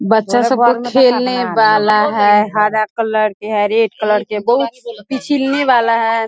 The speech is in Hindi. बच्चा सबके खेलने वाला है हरा कलर के है रेड कलर के बहुत पिचिलने वाला है।